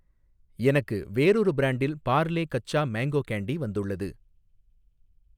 எனக்கு வேறொரு பிரான்டில் பார்லே கச்சா மேங்கோ கேண்டி வந்துள்ளது.